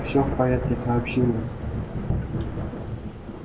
всё в порядке сообщил он